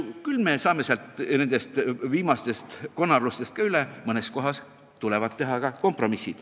Küll me saame nendest viimastest konarustest ka üle, mõnes kohas tuleb veel teha kompromisse.